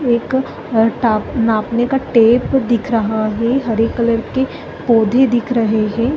एक नापने का टेप दिख रहा है हरे कलर के पौधे दिख रहै है।